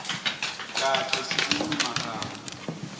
kahle silulumagama